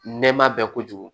Nɛma bɛ kojugu